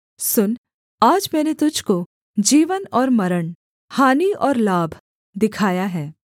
सुन आज मैंने तुझको जीवन और मरण हानि और लाभ दिखाया है